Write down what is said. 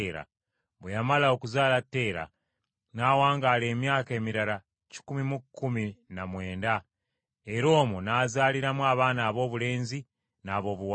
Bwe yamala okuzaala Teera n’awangaala emyaka emirala kikumi mu kkumi na mwenda, era omwo n’azaaliramu abaana aboobulenzi n’aboobuwala.